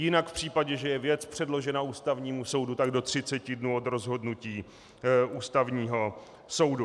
Jinak v případě, že je věc předložena Ústavnímu soudu, tak do 30 dnů od rozhodnutí Ústavního soudu.